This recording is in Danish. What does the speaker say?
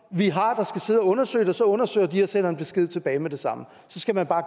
så undersøge det og så undersøger de det og sender en besked tilbage med det samme så skal man bare